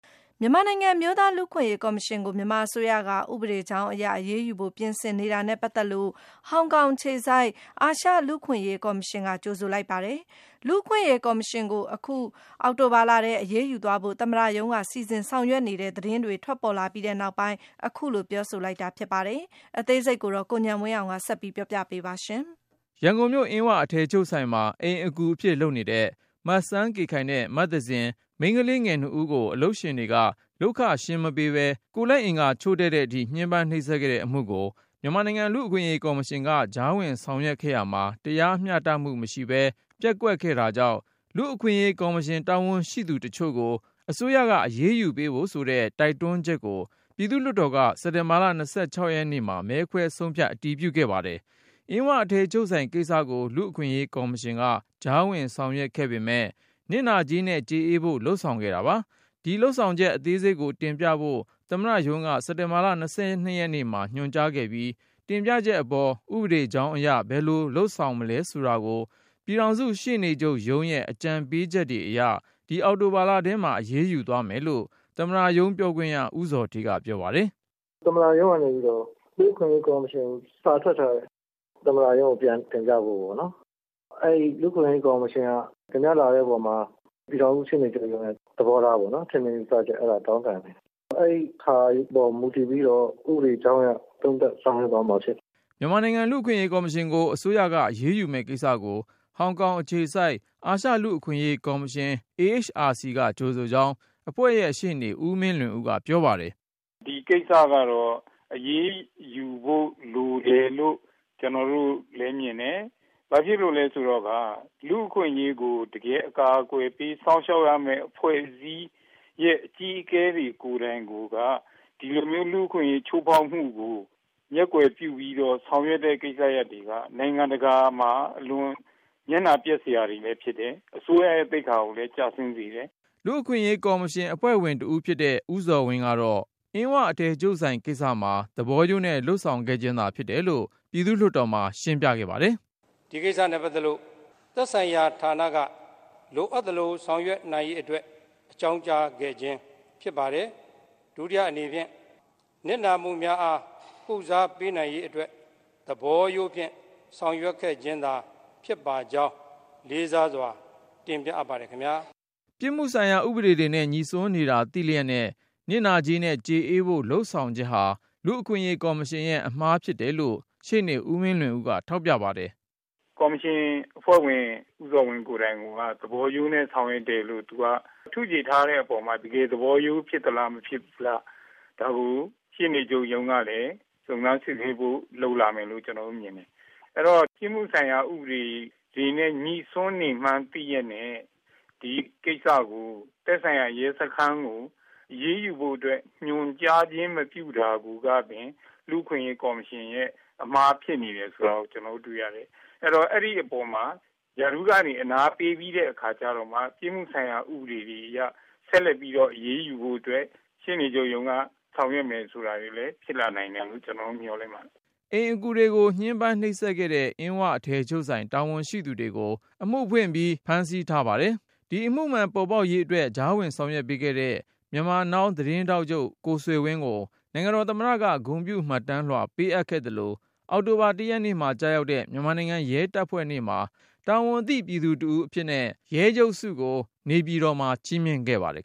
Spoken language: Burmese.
မြန်မာနိုင်ငံ အမျိုးသားလူ့အခွင့်အရေးကော်မရှင်ကို မြန်မာအစိုးရက ဥပဒကြောင်း အရ အရေးယူဖို့ ပြင်ဆင်နေတာနဲ့ ပတ်သက်လို့ ဟောင်ကောင်အခြေစိုက် အာရှ လူ့အခွင့်အရေးကော်မရှင်က ကြိုဆိုလိုက်ပါတယ်။ လူ့အခွင့်အရေးကော်မရှင်ကို အခု အောက်တိုဘာလထဲ အရေးယူသွားဖို့ သမ္မတရုံးက စီစဉ်ဆောင်ရွက်နေတဲ့ သတင်းတွေ ထွက်ပေါ်လာအပြီး အခုလို ပြောဆိုလိုက်တာ ဖြစ်ပါတယ်။ အကြောင်း စုံကို ကိုဉာဏ်ဝင်းအောင်က တင်ပြမှာပါ။ ရန်ကုန်မြို့ အင်းဝအထည်ချုပ်ဆိုင်မှာ အိမ်အကူလုပ်နေတဲ့ မစန်းကေခိုင်နဲ့ မသဇင် မိန်းကလေး ငယ်နှစ်ဦးကို အလုပ်ရှင်တွေက လုပ်ခရှင်း မပေးပဲ ကိုယ်လက်အင်္ဂါ ချို့တဲ့အထိ ညှင်းပမ်းနှိပ်စက်ခဲ့တဲ့ အမှုကို မြန်မာနိုင်ငံလူ့အခွင့်အရေးကော်မရှင်က ကြားဝင်ဆောင်ရွက်ခဲ့ရာမှာ တရား မျှတမှု မရှိပဲ ပျက်ကွက်ခဲ့တာကြောင့် လူ့အခွင့် အရေးကော်မရှင် တာဝန်ရှိသူတချို့ကို အစိုးရက အရေးယူပေးဖို့ဆိုတဲ့ တိုက်တွန်း ချက်ကို ပြည်သူ့လွှတ်တော်က စက်တင်ဘာ ၂၆ ရက်နေ့မှာ မဲခွဲဆုံးဖြတ် အတည်ပြု ခဲ့ပါတယ်။ အင်းဝအထည်ချုပ်ဆိုင်ကိစ္စကို လူ့အခွင့်အရေးကော်မရှင်က ကြားဝင်ဆောင်ရွက် ခဲ့ပေမယ့် နစ်နာကြေးနဲ့ ကျေအေးဖို့ လုပ်ဆောင်ခဲ့တာပါ။ ဒီလုပ်ဆောင်ချက် အသေး စိတ်ကိုတင်ပြဖို့ သမ္မတရုံးက စက်တင်ဘာ၂၂ ရက်နေ့မှာ ညွှန်ကြားခဲ့ပြီး၊ တင်ပြချက် အပေါ် ဥပဒေကြောင်းအရ ဘယ်လို လုပ်ဆောင်နိုင်မလဲ ဆိုတာကို ပြည်ထောင် စုရှေ့နေချုပ်ရုံးရဲ့အကြံပေးချက်တွေအရ ဒီအောက်တိုဘာလထဲမှာ အရေးယူသွား မယ်လို့ သမ္မတရုံးပြောခွင့်ရ ဦးဇော်ဌေးက ပြောပါတယ်။ “ သမ္မတရုံးကနေပြီးတော့ လူ့အခွင့်အရေး ကော်မရှင်ကို စာထွက်ထားတယ် သမ္မတ ရုံးကို ပြန်တင်ပြဖို့ပေါ့နော်။ အဲဒီ လူ့အခွင့်အရေးကော် မရှင်က တင်ပြလာတဲ့ အပေါ်မှာ ပြည်ထောင်စု ရှေ့နေချုပ်ရုံးရဲ့ သဘောထား၊ ထင်မြင်ယူဆချက် အဲဒါကိုေ တာင်းခံတယ်။ အဲဒီဟာပေါ် မူတည်ပြီးတော့ ဥပဒေကြောင်းအရ သုံးသပ်ဆောင်ရွက် သွားမှာဖြစ်တယ်” မြန်မာလူ့အခွင့်အရေးကော်မရှင်ကို အစိုးရက အရေးယူမယ့်ကိစ္စကို ဟောင်ကောင် အခြေစိုက် အာရှလူ့အခွင့်အရေး ကော်မရှင် AHRC က ကြိုဆိုကြောင်း အဖွဲ့ရဲ့ရှေ့နေ ဦးမင်းလွင်ဦးက ပြောပါတယ်။ “ ဒီကိစ္စကတော့ အရေးယူဖို့ လိုတယ်လို့ ကျနော်တို့လည်း မြင်တယ်။ ဘာဖြစ်လို့လဲ ဆိုတော့ လူ့အခွင့်အရေးကို တကယ် အကာအကွယ်ပေး စောင့်ရှောက်ရမယ့် အဖွဲ့အစည်းရဲ့ အကြီးအကဲတွေ ကို်ယ်တိုင်ကိုက ဒီလိုမျိုး လူ့အခွင့်အရေး ချိုးဖေါက် မှုကို မျက်ကွယ်ပြုပြီးတော့ ဆောင်ရွက်တဲ့ ကိစ္စရပ်တွေက နိူင်ငံတကာမှာ အလွန် မျက်နှာပျက်စရာတွေပဲ ဖြစ်တယ်။ အစိုးရရဲ့ သိက္ခာကိုလဲ ကျဆင်းစေတယ် ” လူ့အခွင့်အရေးကော်မရှင် အဖွဲ့ဝင်တဦးဖြစ်တဲ့ ဦးဇော်ဝင်းကတော့ အင်းဝ အထည်ချုပ်ဆိုင် ကိစ္စမှာ သဘောရိုးနဲ့ လုပ်ဆောင်ခဲ့ ခြင်းသာဖြစ် တယ်လို့ ပြည်သူ့ လွှတ်တော်မှာ ရှင်းပြခဲ့ပါတယ်။ “ ဒီကိစ္စနဲ့ပတ်သက်လို့ သက်ဆိုင်ရာ ဌာနက လိုအပ်သလို ဆောင်ရွက်နိူင်ရေး အတွက် အကြောင်းကြားခဲ့ခြင်း ဖြစ်ပါတယ်။ ဒုတိယ အနေဖြင့် နစ်နာမှုများအား ကုစားပေးနိူင်ရေးအတွက် သဘောရိုးဖြင့် ဆောင်ရွက်ခဲ့ခြင်းသာ ဖြစ် ပါကြောင်း လေးစားစွာ တင်ပြအပ်ပါတယ် ခင်ဗျား ” ပြစ်မှုဆိုင်ရာဥပဒေတွေနဲ့ ညိစွန်းနေတာသိလျက်နဲ့ နစ်နာကြေးနဲ့ ကျေအေးဖို့ လုပ်ဆောင်ချက်ဟာ လူ့အခွင့်အရေးကော်မရှင်ရဲ့အမှားဖြစ် တယ်လို့ ရှေ့နေ ဦးမင်းလွင်ဦးက ထောက်ပြပါတယ်။ “ ကော်မရှင်အဖွဲ့ဝင် ဦးဇော်ဝင်းကိုယ်တိုင်က.. သဘောရိုးနဲ့ ဆောင်ရွက်တယ်လို့ သူက ထုချေထားတဲ့အပေါ်မှာ၊ တကယ် သဘောရိုး ဖြစ်သလား မဖြစ်ဘူးလား၊ ဒါကို ရှေ့နေချုပ်ရုံးကလည်း စုံစမ်းစစ်ဆေးမှု လုပ်လာမယ်လို့ ကျနော်တို့ မြင်တယ်။ အဲဒီတော့ ပြစ်မှုဆိုင်ရာ ဥပဒေ တွေနဲ့ ညိစွန်းနေမှန်း သိလျက်နဲ့ ဒီကိစ္စကို သက်ဆိုင်ရာ ရဲစခန်းကို အရေးယူဖို့အတွက် ညွှန်ကြားခြင်း မပြုတာကိုကပင် လူ့အခွင့်အရေး ကော်မရှင်ရဲ့ အမှားဖြစ်နေတယ် ဆိုတာကို ကျနော်တို့တွေ့ရတယ်။ အဲဒီတော့ အဲဒီအပေါ်မှာ ရာထူးကနေ အနားပေးပြီးတဲ့ အခါကျတော့မှ ပြစ်မှုဆိုင်ရာ ဥပဒေတွေအရ ဆက်လက် အရေးယူဖို့အတွက် ရှေ့နေချုပ်ရုံးက ဆောင်ရွက်မယ် ဆိုတာတွေ ဖြစ်လာနိူင်တယ်လို့ ကျနော်တို့ မျှော်လင့်ပါတယ် ” အိမ်အကူတွေကို ညှင်းပမ်းနှိပ်စက်ခဲ့တဲ့ အင်းဝအထည်ချုပ်ဆိုင် တာဝန်ရှိသူတွေကို အမှုဖွင့်ထားပြီး ဖမ်းဆီးထားပါတယ်။ ဒီအမှုမှန်ပေါ်ပေါက် ရေးအတွက် ကြားဝင်ဆောင်ရွက်ခဲ့တဲ့ Myanmar Now သတင်းထောက်ချုပ် ကိုဆွေဝင်း ကို နိုင်ငံတော်သမ္မတက ဂုဏ်ပြုမှတ်တမ်းလွှာ ပေးအပ်ခဲ့သလို၊ အောက်တိုဘာ ၁ ရက်နေ့မှာ ကျရောက်တဲ့ မြန်မာနိုင်ငံရဲတပ်ဖွဲ့နေ့မှာ တာဝန်သိပြည်သူတဦးအဖြစ် ‘ရဲချုပ်ဆု’ကို နေပြည် တော်မှာ ချီးမြှင့်ခဲ့ပါတယ်